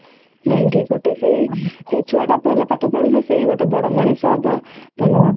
ନାଇଁ କି ଗୋଟେ ସେଇ ଛୁଆ ଟା ଭଲ ପାଠ ପଢିଲେ ସେ ଗୋଟେ ବଡ ମଣିଷ ହବ ଭଲ